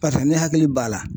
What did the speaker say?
Paseke ne hakili b'a la.